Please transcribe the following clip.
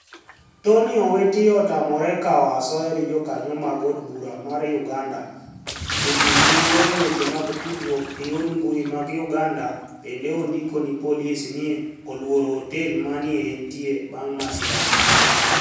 Toniy Owiti otamore kawo asoya ni e jokaniyo mag od bura mar Uganida Jotim noniro e weche mag tudruok e yor mbuyi mag Uganida, benide onidiko nii polis ni e olworo otel ma ni e enitie banig' masirano.